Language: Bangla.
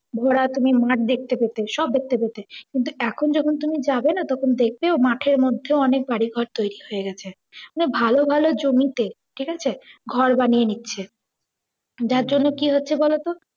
ভরা তুমি মাঠ দেখতে পেতে, সব দেখতে পেতে কিন্তু এখন যখন তুমি যাবে না তখন দেখবে ঐ মাঠের মধ্যে অনেক বাড়ি, ঘর তৈরি হয়ে গেছে। মানে ভালো ভালো জমিতে ঠিকাছে ঘর বানিয়ে নিচ্ছে। যার জন্য কি হচ্ছে বলতো